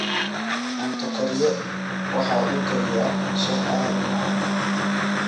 Cunto kariye waxa uu kariyaa shaah aad u macaan